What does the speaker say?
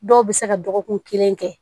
Dɔw bɛ se ka dɔgɔkun kelen kɛ